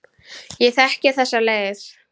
Ég þekki þessa leið.